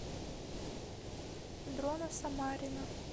дрона самарина